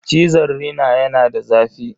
Cizon rina yana da zafi.